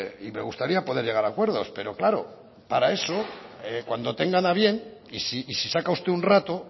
y me gustaría poder llegar a acuerdos pero claro para eso cuando tengan a bien y si saca usted un rato